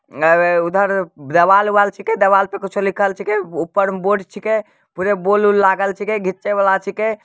अरे उधर देवाल-उवाल छीके देवाल पे कुछो लिखल छीके। ऊपर में बोर्ड छीके पुरे बॉल उल लागल छीके घिचे वाला छीके।